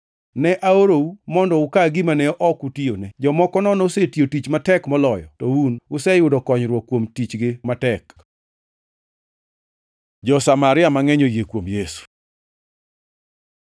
Ne aorou mondo uka gima ne ok utiyone. Jomoko nono osetiyo tich matek moloyo, to un useyudo konyruok kuom tichgi matek.” Jo-Samaria mangʼeny oyie kuom Yesu